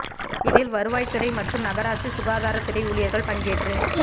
இதில் வருவாய்த் துறை மற்றும் நகராட்சி சுகாதாரத் துறை ஊழியா்கள் பங்கேற்று